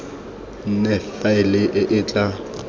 nne faele e e tla